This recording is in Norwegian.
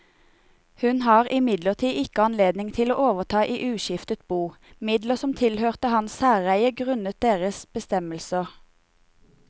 Hun har imidlertid ikke anledning til å overta i uskiftet bo midler som tilhørte hans særeie grunnet deres bestemmelser.